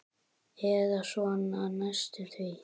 Eða svona næstum því.